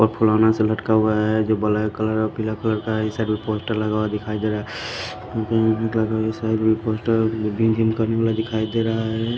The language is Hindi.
फुलाना से लटका हुआ है जो ब्लैक कलर और पीला कलर का है इस साइड भी पोस्टर लगा हुआ दिखाई दे रहा है इस साइड में पोस्टर जिम विम करने वाला दिखाई दे रहा है।